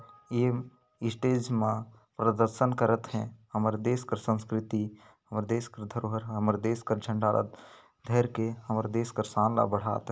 ये स्टेज मा प्रदर्शन करत हे हमर देश कर संस्कृति देश कर धरोहर हमर देश कर झंडा र धेर के हमर देश का शान बढ़ात --